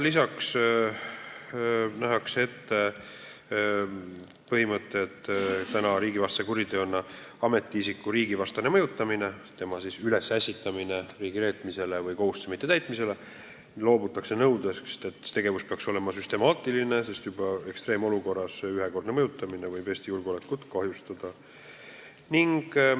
Lisaks nähakse ette, et ametiisiku mõjutamisel riigivastast kuritegu toime panema, tema riigireetmisele või kohustuse mittetäitmisele ülesässitamisel loobutakse nõudest, et see tegevus peab olema süstemaatiline, sest ekstreemolukorras võib juba ühekordne mõjutamine Eesti julgeolekut kahjustada.